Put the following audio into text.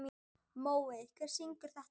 Mói, hver syngur þetta lag?